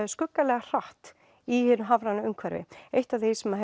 skuggalega hratt í hinu hafræna umhverfi eitt af því sem